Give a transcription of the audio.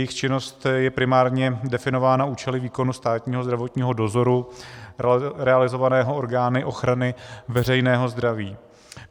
Jejich činnost je primárně definována účely výkonu státního zdravotního dozoru realizovaného orgány ochrany veřejného zdraví.